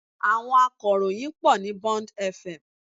Àwọn akọ̀ròyìn pọ̀ ní Bond FM